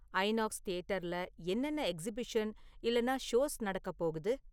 INOX தியேட்டர்ல என்னென்ன exhibition இல்லென்னா ஷோஸ் நடக்கப்போகுது?